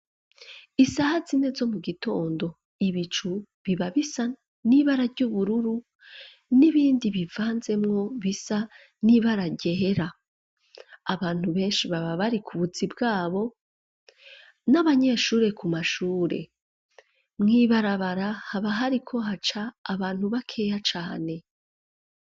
Isaha zine zo mu gitondo, ibicu, biba bisa n'ibara ry'ubururu, n'ibindi bivanzemwo, bisa n'ibara ryera; abantu benshi, baba bari ku buzi bwabo, n'abanyeshure ku mashure; mw'ibarabara, haba hariko haca, abantu bakeya cane.